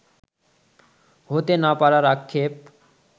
হতে না পারার আক্ষেপ